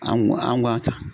An k an ko a ta